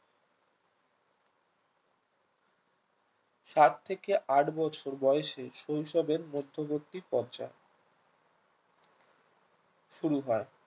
সাত থেকে এত বছর বয়সে শৈশবের মধ্যবর্তি পর্যায় শুরু হয়